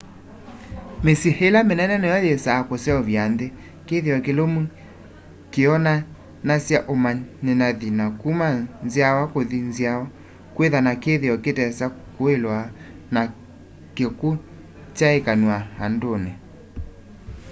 mĩsyĩ ĩla mĩnene nĩyo yĩsaa kũseũvya nthĩ kĩthĩo kĩlũmũ kĩonanasya ũmanĩthanyĩ wa kũma nzyawa kũthĩ nzyawa kwĩthya na kĩthĩo kĩtesa kũlwa na kĩkũnyaĩkanw'a andũnĩ